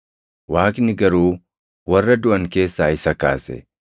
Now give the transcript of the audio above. Waaqni garuu warra duʼan keessaa isa kaase.